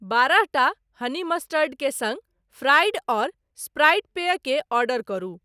बारह टा honey mustard के सँग फ्राइड अउर स्प्राइट पेय के ऑर्डर करु